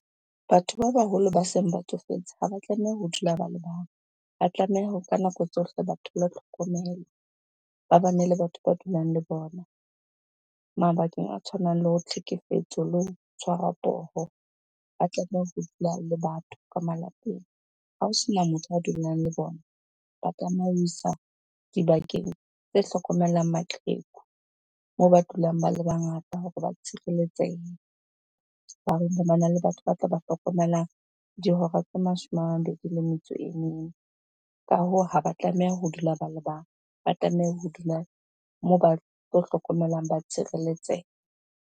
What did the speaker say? Batho ba baholo ba seng ba tsofetse ha ba tlameha ho dula ba le bang, ba tlameha hore ka nako tsohle batho ba thole tlhokomelo, ba bane le batho ba dulang le bona. Mabakeng a tshwanang le tlhekefetso le ho tshwarwa poho, ba tlameha ho dula le batho ka malapeng. Ha ho sena motho a dulang le bona ba dibakeng tse hlokomelang maqheku moo ba dulang ba le bangata hore ba tshireletsehe. Ba le batho ba tla ba hlokomelang dihora tse mashome a mabedi le metso e . Ka hoo, ha ba tlameha ho dula ba le bang, ba tlameha ho dula moo ba tlo hlokomelang, ba .